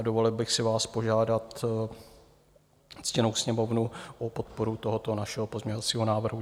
A dovolil bych si vás požádat, ctěnou Sněmovnu, o podporu tohoto našeho pozměňovacího názoru.